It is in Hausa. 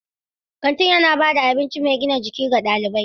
Kantin yana ba da abinci mai gina jiki ga ɗalibai.